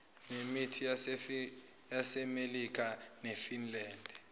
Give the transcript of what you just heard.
nemit yasemelika nefinland